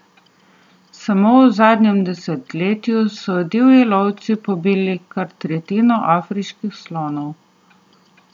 Samo v zadnjem desetletju so divji lovci pobili kar tretjino afriških slonov.